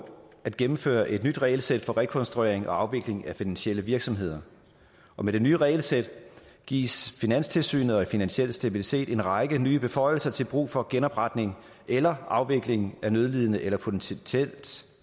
at gennemføre et nyt regelsæt for rekonstruering og afvikling af finansielle virksomheder med det nye regelsæt gives finanstilsynet og finansiel stabilitet en række nye beføjelser til brug for genopretning eller afvikling af nødlidende eller potentielt